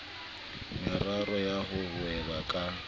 meraro ya ho hweba ka